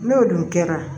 N'o dun kɛra